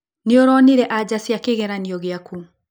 Nĩũronire anja cia kĩgeranio gĩaku?